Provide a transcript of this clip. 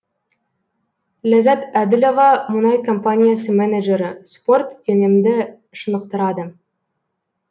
ләззат әділова мұнай компаниясы менеджері спорт денемді шынықтырады